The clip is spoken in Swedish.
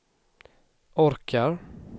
orkar